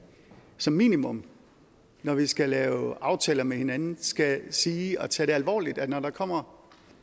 som minimum når vi skal lave aftaler med hinanden skal sige og tage det alvorligt at når der kommer og